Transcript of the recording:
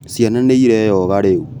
Ciana nĩireyoga rĩu